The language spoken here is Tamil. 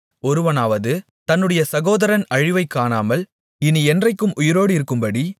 ஒருவனாவது தன்னுடைய சகோதரன் அழிவைக் காணாமல் இனி என்றைக்கும் உயிரோடிருக்கும்படி